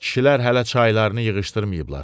Kişilər hələ çaylarını yığışdırmayıblar.